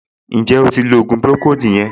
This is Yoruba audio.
Ǹjẹ́ o ti lo ògùn pùròkóòdù yẹn